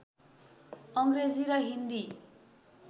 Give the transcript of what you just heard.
अङ्ग्रेजी र हिन्दी